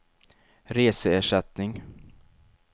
reseersättning